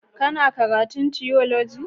Kana karatun tiyoloji?